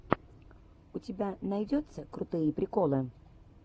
у тебя найдется крутые приколы